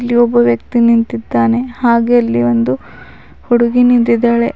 ಇಲ್ಲಿ ಒಬ್ಬ ವ್ಯಕ್ತಿ ನಿಂತಿದ್ದಾನೆ ಹಾಗೆ ಅಲ್ಲಿ ಒಂದು ಹುಡುಗಿ ನಿಂತಿದ್ದಾಳೆ.